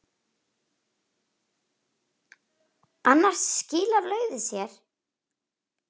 Annars skilar laufið sér.